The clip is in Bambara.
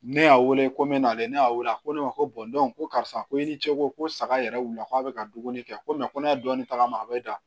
Ne y'a wele ko n bɛn'ale ne y'a wele a ko ne ma ko ko karisa ko i ni cɛ ko ko saga yɛrɛ wulila ko a bɛ ka dumuni kɛ ko ko ne ye dɔɔnin tagama a bɛ da